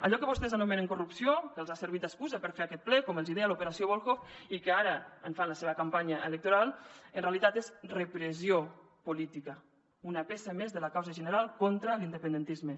allò que vostès anomenen corrupció que els ha servit d’excusa per fer aquest ple com els deia l’operació volhov i que ara en fan la seva campanya electoral en realitat és repressió política una peça més de la causa general contra l’independentisme